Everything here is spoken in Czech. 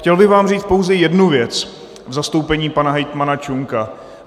Chtěl bych vám říct pouze jednu věc v zastoupení pana hejtmana Čunka.